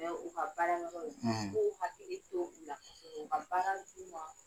U ka baarakɛyɔrɔ la k'o hakili to u la ka baara d'u ma.